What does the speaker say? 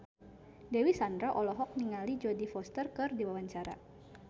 Dewi Sandra olohok ningali Jodie Foster keur diwawancara